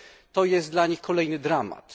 To jest dla nich kolejny dramat.